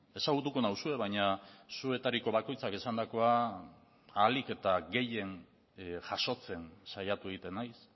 ezagutuko nauzue baina zuetariko bakoitzak esandakoa ahalik eta gehien jasotzen saiatu egiten naiz